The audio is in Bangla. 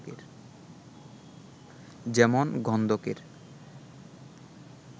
যেমন গন্ধকের